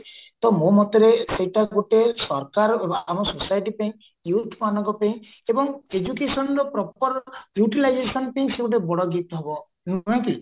ତ ମୋ ମତରେ ସେଇଟା ଗୋଟେ ସରକାର ଆମ society ପାଇଁ youth ମାନଙ୍କ ପାଇଁ ଏବଂ educationର proper utilization ପାଇଁ ସିଏ ଗୋଟେ ବଡ ଜିତ ହବ ନୁହେ କି